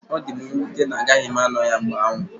Ọ dị m nwute na agaghị m ano ya mgbe ahụ.